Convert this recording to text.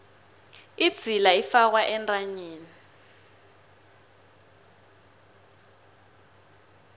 idzila ifakwa entanyeni